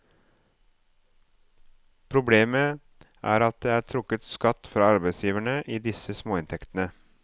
Problemet er at det er trukket skatt fra arbeidsgiverne i disse småinntektene.